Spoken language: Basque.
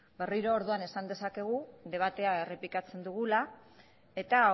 berriro orduan esan dezakegu debatea errepikatzen dugula eta